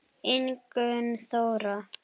Ingunn Þóra.